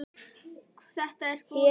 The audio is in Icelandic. Þetta er búið, Hemmi.